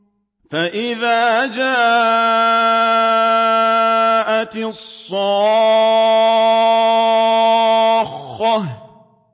فَإِذَا جَاءَتِ الصَّاخَّةُ